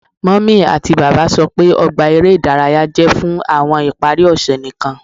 Mummy ati baba sọ pe ogba ere idaraya jẹ fun awọn ipari ose nikan